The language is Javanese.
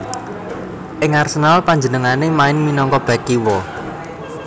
Ing Arsenal panjenengané main minangka bèk kiwa